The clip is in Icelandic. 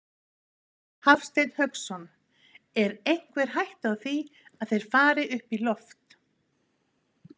Hafsteinn Hauksson: Er einhver hætta á því að þeir fari upp í loft?